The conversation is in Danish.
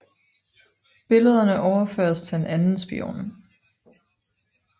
Billederne overføres til en anden spion